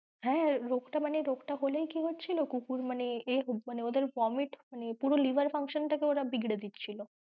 হ্যাঁ রোগটা মানে রোগ টা হলেই কি হচ্ছিলো কুকুর মানে ওদের vomit মানে পুরো liver function টাকে ওরা বিগড়ে দিচ্ছিল।